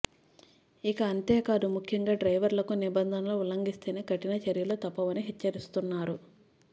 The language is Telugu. ఇక అంతే కాదు ముఖ్యంగా డ్రైవర్లకు నిబంధనలు ఉల్లంఘిస్తే కఠిన చర్యలు తప్పవని హెచ్చరిస్తున్నారు